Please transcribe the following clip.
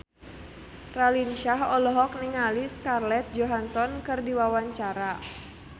Raline Shah olohok ningali Scarlett Johansson keur diwawancara